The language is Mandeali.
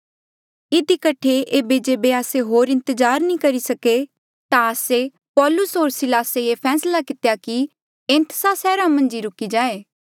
इधी कठे ऐबे जेबे आस्से होर इंतजार नी करी सके ता आस्से पौलूस होर सिलास ये फैसला कितेया कि एथेंस सैहरा मन्झ ही रुकी रहे